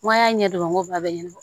N ko an y'a ɲɛ dɔn n ko ba bɛ ɲɛn